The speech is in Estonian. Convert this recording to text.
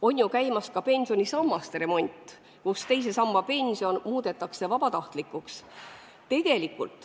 On käimas ka pensionisammaste remont, teise samba pension muudetakse vabatahtlikuks.